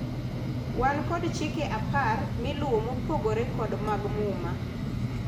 wan kod chike apar miluwo mopogore kod mag muma